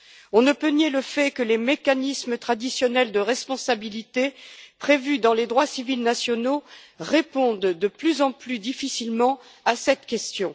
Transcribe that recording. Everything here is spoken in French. On ne peut nier le fait que les mécanismes traditionnels de responsabilité prévus dans les droits civils nationaux répondent de plus en plus difficilement à cette question.